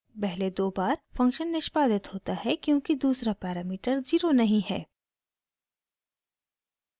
पहले दो बार फंक्शन निष्पादित होता है क्योंकि दूसरा पैरामीटर ज़ीरो नहीं है